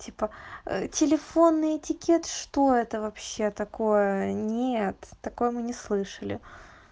типа телефонный этикет что это вообще такое нет такое мы не слышали